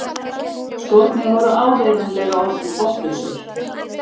Skórnir voru áreiðanlega orðnir botnlausir.